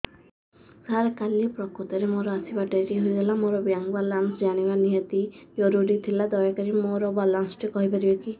ସାର କାଲି ପ୍ରକୃତରେ ମୋର ଆସିବା ଡେରି ହେଇଗଲା ମୋର ବ୍ୟାଙ୍କ ବାଲାନ୍ସ ଜାଣିବା ନିହାତି ଜରୁରୀ ଥିଲା ଦୟାକରି ମୋତେ ମୋର ବାଲାନ୍ସ ଟି କହିପାରିବେକି